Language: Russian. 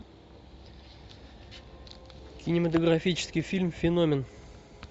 кинематографический фильм феномен